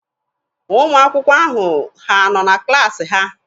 Ụmụ akwụkwọ ahụ ha nọ na klaasị ha?